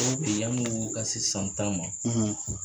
sisan ta ma